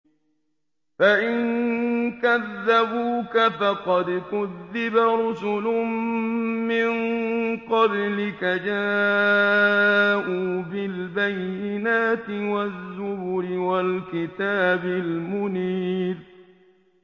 فَإِن كَذَّبُوكَ فَقَدْ كُذِّبَ رُسُلٌ مِّن قَبْلِكَ جَاءُوا بِالْبَيِّنَاتِ وَالزُّبُرِ وَالْكِتَابِ الْمُنِيرِ